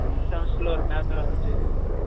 sixth semester ல ஒரு paper வந்துச்சு